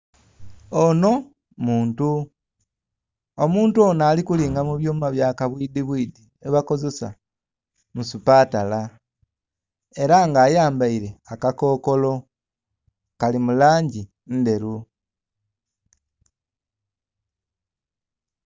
Ono muntu, omuntu ono alikulinga mubyuma byabwidhibwidhi byebakozesa musupatala era nga ayambaire akakokolo kali mulangi ndheru.